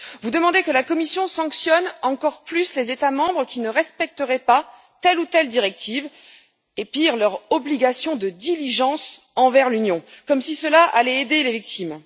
Vous demandez que la Commission sanctionne encore plus les États membres qui ne respecteraient pas telle ou telle directive et, pire, leur obligation de diligence envers l'Union, comme si cela allait aider les victimes.